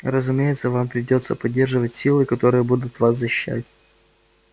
разумеется вам придётся поддерживать силы которые будут вас защищать